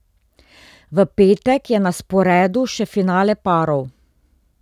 V petek je na sporedu še finale parov.